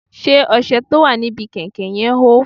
Ṣé ọṣẹ tó wà ní bi kàìnkàìn yẹn hó?